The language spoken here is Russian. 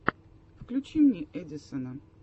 включи мне эдисона